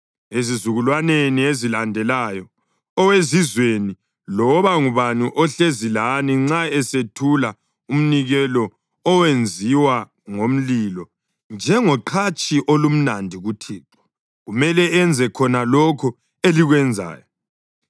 Ezizukulwaneni ezilandelayo, owezizweni loba ngubani ohlezi lani nxa esethula umnikelo owenziwa ngomlilo njengoqhatshi olumnandi kuThixo, kumele enze khona lokho elikwenzayo.